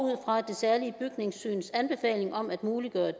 fra det særlige bygningssyns anbefaling om at muliggøre